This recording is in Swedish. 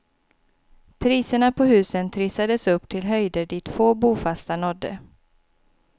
Priserna på husen trissades upp till höjder dit få bofasta nådde.